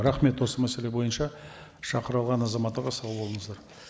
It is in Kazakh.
рахмет осы мәселе бойынша шақырылған азаматтарға сау болыңыздар